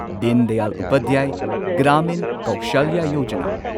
ꯗꯤꯟ ꯗꯌꯥꯜ ꯎꯄꯥꯙ꯭ꯌꯥꯢ ꯒ꯭ꯔꯥꯃꯤꯟ ꯀꯧꯁꯂ꯭ꯌ ꯌꯣꯖꯥꯅꯥ